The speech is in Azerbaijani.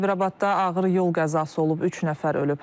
Sabirabadda ağır yol qəzası olub, üç nəfər ölüb.